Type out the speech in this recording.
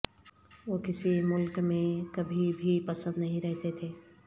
وہ کسی ملک میں کبھی بھی پسند نہیں رہتے تھے